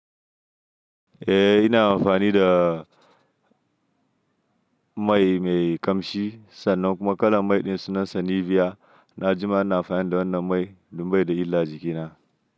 Eh ina amfani da mai mai ƙamshi sannan kuma kalan mai ɗin sunansa Nivea. Na jima ina amfani da wannan mai don bai da illa a jikina.